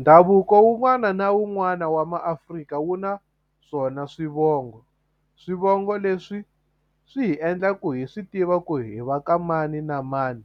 Ndhavuko wun'wana na wun'wana wa maAfrika wu na swona swivongo swivongo leswi swi hi endla ku hi swi tiva ku hi va ka mani na mani